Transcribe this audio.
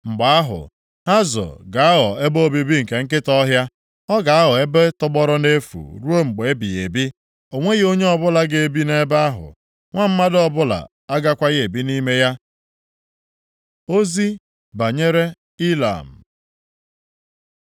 “Mgbe ahụ, Hazọ ga-aghọ ebe obibi nke nkịta ọhịa. Ọ ga-aghọ ebe tọgbọrọ nʼefu ruo mgbe ebighị ebi. O nweghị onye ọbụla ga-ebi nʼebe ahụ, nwa mmadụ ọbụla agakwaghị ebi nʼime ya.” Ozi banyere Ilam